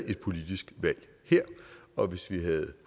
et politisk valg her og hvis vi havde